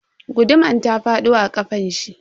Guduman ta fado a kafanshi.